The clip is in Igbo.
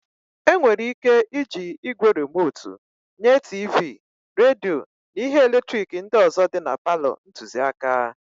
E nwere ị́ké ịji ígwè rimotu nye tiivii, redio na ihe eletrik ndị ọzọ dị palọ ntụziaka.